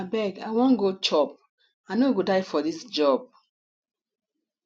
abeg i wan go chop i no go die for dis job